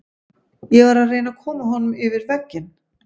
Ég var að reyna að koma honum yfir vegginn.